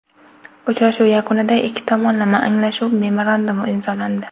Uchrashuv yakunida ikki tomonlama anglashuv memorandumi imzolandi.